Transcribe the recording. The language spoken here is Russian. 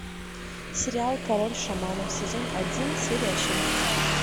сериал король шаманов сезон один серия шесть